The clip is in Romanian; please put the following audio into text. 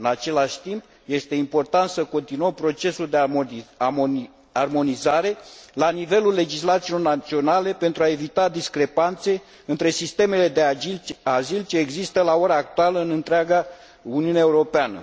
În același timp, este important să continuăm procesul de armonizare la nivelul legislațiilor naționale pentru a evita discrepanțe între sistemele de azil ce există la ora actuală în întreaga Uniune Europeană.